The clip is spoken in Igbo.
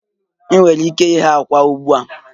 Ị nwere ike ighe àkwá ugbu a